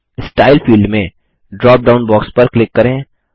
style field में drop down box पर click करें